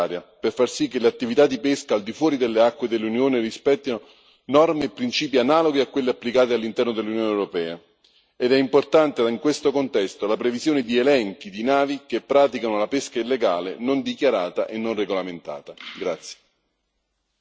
Era una revisione necessaria per far sì che le attività di pesca al di fuori delle acque dell'Unione rispettino norme e principi analoghi a quelli applicati all'interno dell'Unione europea, ed è importante, in questo contesto, la previsione di elenchi di navi che praticano la pesca illegale, non dichiarata e non regolamentata.